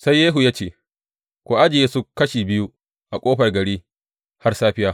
Sai Yehu ya ce, Ku ajiye su kashi biyu a ƙofar gari har safiya.